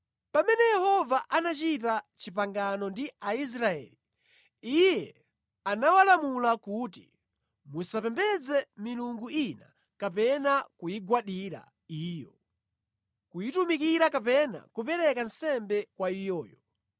Pamene Yehova anachita pangano ndi Aisraeli, Iye anawalamula kuti, “Musapembedze milungu ina kapena kuyigwadira iyo, kuyitumikira kapena kupereka nsembe kwa iyoyo.